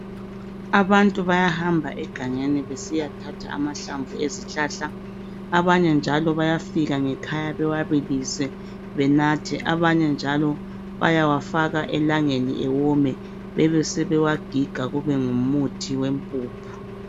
Abantu bayahamba egangeni besiya thatha amahlamvu ezihlahla abanye njalo bayafika ngekhaya bewabilise benathe abanye njalo bayawafaka elangeni ewome bebe sebewagiga kube ngumuthi wempuphu.